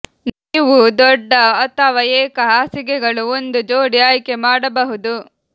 ನೀವು ದೊಡ್ಡ ಅಥವಾ ಏಕ ಹಾಸಿಗೆಗಳು ಒಂದು ಜೋಡಿ ಆಯ್ಕೆ ಮಾಡಬಹುದು